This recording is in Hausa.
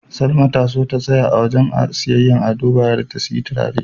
Salma ta so ta tsaya a wajen siyayyar Ado Bayero ta siyi turare.